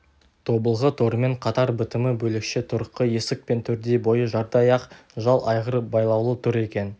тобылғы торымен қатар бітімі бөлекше тұрқы есік пен төрдей бойы жардай ақ жал айғыр байлаулы тұр екен